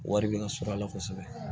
Wari bɛ ka sɔrɔ a la kosɛbɛ